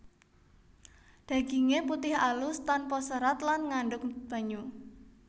Daginge putih alus tanpa serat lan ngandhut banyu